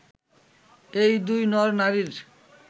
এই দুই নর-নারীর